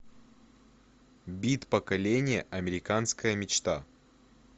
бит поколение американская мечта